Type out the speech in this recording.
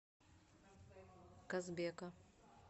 казбека